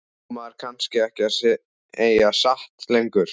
Á maður kannski ekki að segja satt lengur?